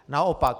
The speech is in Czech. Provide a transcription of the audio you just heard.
Naopak.